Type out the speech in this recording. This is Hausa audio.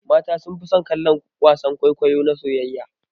Mata sunfi son kallon wasan kwaikwayo na soyayya.